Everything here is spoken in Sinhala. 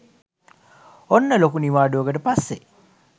ඔන්න ලොකු නිවාඩුවකට පස්සේ